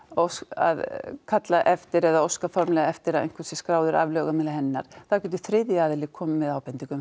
að kalla eftir eða óska formlega eftir að einhver sé skráður af lögheimili hennar þá getur þriðji aðili komið með ábendingar um